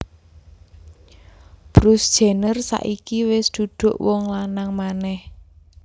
Bruce Jenner saiki wes duduk wong lanang maneh